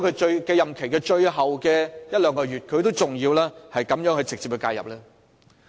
在任期最後一兩個月，他為何還要這樣直接介入？